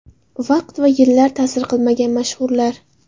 Vaqt va yillar ta’sir qilmagan mashhurlar .